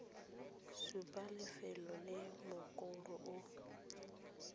supa lefelo le mokoro o